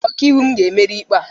Ụkaiwu m ga-emeri n'ikpe a.